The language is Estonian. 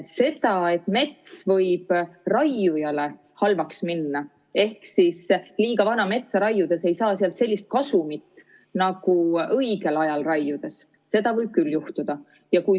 Seda, et mets võib raiujale halvaks minna ehk liiga vana metsa raiudes ei saa sealt sellist kasumit nagu õigel ajal raiudes, võib küll juhtuda.